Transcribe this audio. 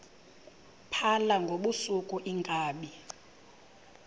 phala ngobusuku iinkabi